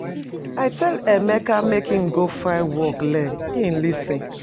I tell Emeka make im go find work learn, im lis ten.